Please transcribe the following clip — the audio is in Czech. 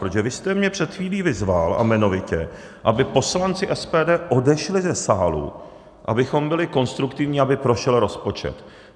Protože vy jste mě před chvílí vyzval - a jmenovitě - aby poslanci SPD odešli ze sálu, abychom byli konstruktivní, aby prošel rozpočet.